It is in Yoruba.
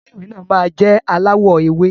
Ilé ìwé náà má jẹ alawọ ewe.